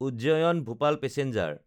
Ujjain-Bhopal passenger